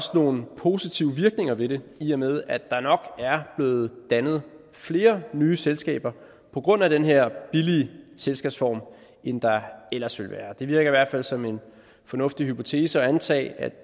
nogle positive virkninger ved det i og med at der nok er blevet dannet flere nye selskaber på grund af den her billige selskabsform end der ellers ville være blevet det virker i hvert fald som en fornuftig hypotese at antage at